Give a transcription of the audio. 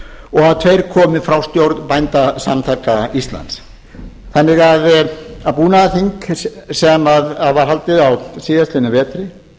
og að tveir komi frá stjórn bændasamtaka íslands búnaðarþing sem var haldið á síðastliðnum vetri